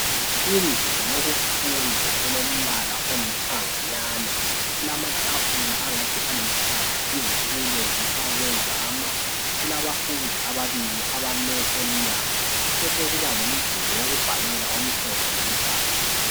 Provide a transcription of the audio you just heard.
Indlu yokufunda elombala olithanga nyana kulamatafula angathi alithanga izitulo zifakwe zama kulabafundi ababili abame emnyamgo besekuba lomduli wokubhalela omhlophe loluhlaza